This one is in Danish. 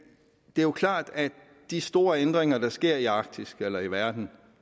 det er klart at de store ændringer der sker i arktis eller i verden